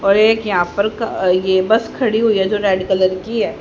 और एक यहां पर क ये बस खड़ी हुई है जो रेड कलर की है।